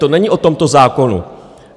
To není o tomto zákonu.